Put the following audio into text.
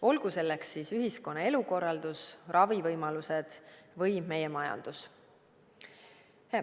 Olgu selleks siis ühiskonna elukorraldus, ravivõimalused või meie majandus.